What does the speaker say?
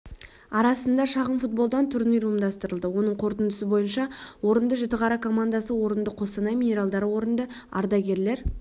арасында шағын-футболдан турнир ұйымдастырылды оның қорытындысы бойынша орынды жітіқара командасы орынды қостанай минералдары орынды ардагерлер